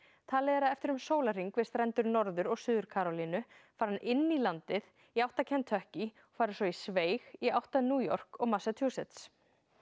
talið er að eftir um sólahring við strendur Norður og Suður Karólínu fari hann inn í landið í átt að Kentucky og fari svo í sveig í átt að New York og Massachusetts